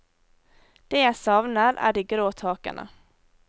Det jeg savner er de grå takene.